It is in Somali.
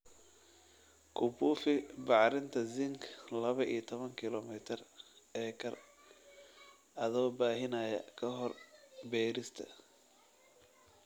kubufi bacriminta zinc laba iyo tawan kilogram/acre adoo baahinaya kahor beerista